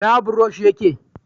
ina burosh ya ke?